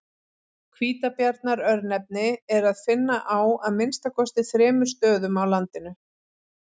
Hvítabjarnar-örnefni er að finna á að minnsta kosti þremur stöðum á landinu.